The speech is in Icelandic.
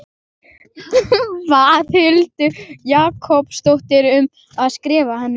Bað Huldu Jakobsdóttur um að skrifa henni.